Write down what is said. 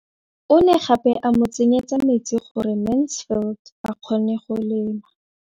O ne gape a mo tsenyetsa metsi gore Mansfield a kgone go lema.